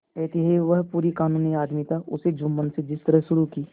अतएव वह पूरा कानूनी आदमी था उसने जुम्मन से जिरह शुरू की